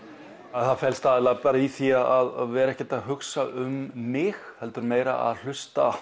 það felst aðallega í því að vera ekkert að hugsa um mig heldur meira að hlusta